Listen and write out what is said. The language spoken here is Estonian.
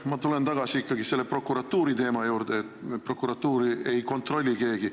Ma tulen ikkagi tagasi selle prokuratuuriteema juurde, et prokuratuuri ei kontrolli keegi.